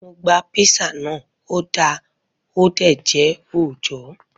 Mo gba písà na, ọ da ọ dé jẹ́ òòjọ́.